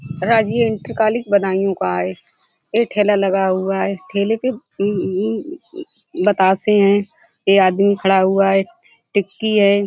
Rajiv inter college Budaun का है। ये ठेला लगा हुआ है ठेले पे म्मम्म बतासे हैं। ये आदमी खड़ा हुआ है टिक्की है।